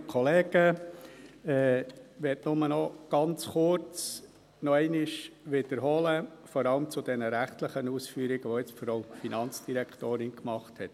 Ich will es nur ganz kurz nochmals wiederholen, vor allem bezüglich der rechtlichen Ausführungen, die jetzt die Frau Finanzdirektorin gemacht hat.